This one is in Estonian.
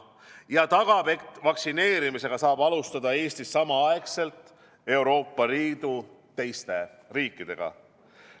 See tagab, et vaktsineerimist saab alustada Eestis samaaegselt Euroopa Liidu teiste riikidega.